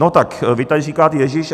No tak vy tady říkáte "ježiš".